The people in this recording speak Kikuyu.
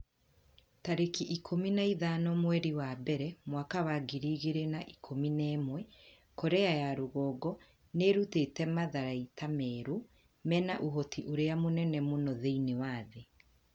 tarĩki ikũmi na ithano mweri wa mbere mwaka wa ngiri igĩrĩ na ikũmi na ĩmwe Korea ya rũgongo nĩ ĩrutĩte matharaita merũ mena ũhoti ũrĩa mũnene mũno thĩinĩ wa thĩ.'